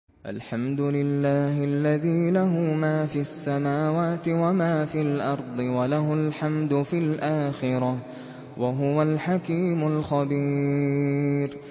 الْحَمْدُ لِلَّهِ الَّذِي لَهُ مَا فِي السَّمَاوَاتِ وَمَا فِي الْأَرْضِ وَلَهُ الْحَمْدُ فِي الْآخِرَةِ ۚ وَهُوَ الْحَكِيمُ الْخَبِيرُ